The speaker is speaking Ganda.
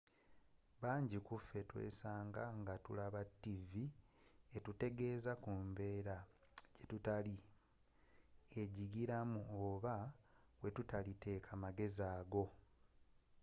banji kuffe tweesanga nga tulaba ttivvi etutegeeza ku mbeera jetutali enyigiramu oba weetutali teeka magezi ago